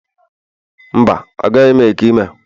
Mba, agaghị m ete ime a